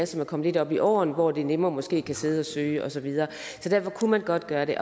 som er kommet lidt op i årene og som nemmere måske kan sidde og søge og så videre kunne man godt gøre det